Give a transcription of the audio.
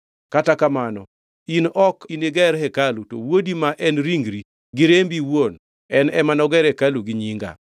Kata kamano, in ok niger hekalu, to wuodi, ma en ringri gi rembi iwuon, en ema noger hekalu ni Nyinga.’